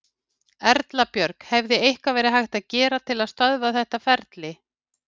Erla Björg: Hefði eitthvað verið hægt að gera til þess að stöðva þetta ferli?